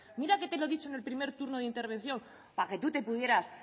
mira que te lo he dicho en el primer turno de intervención para que tú te pudieras